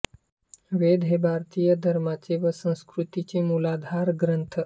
वेद हे भारतीय धर्माचे व संस्कृतीचे मूलाधार ग्रंथ